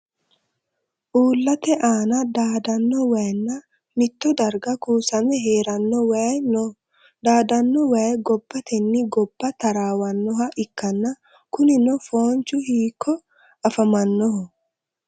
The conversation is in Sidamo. Uulate aanna daadano wayinna mitto darga kuushame heerano wayi no daadano wayi gobbatenni gobba taraawanoha ikanna kunni foonchi hiikko afamanoho?